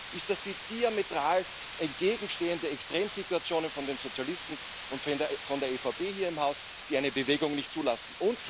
Zum einen sind das die diametral entgegenstehenden Extremsituationen von den Sozialisten und von der EVP hier im Haus, die eine Bewegung nicht zulassen.